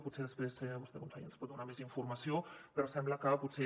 potser després vostè conseller ens en pot donar més informació però sembla que potser